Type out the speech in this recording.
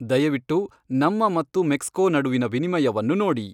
ದಯವಿಟ್ಟು ನಮ್ಮ ಮತ್ತು ಮೆಕ್ಸ್ಕೊ ನಡುವಿನ ವಿನಿಮಯವನ್ನು ನೋಡಿ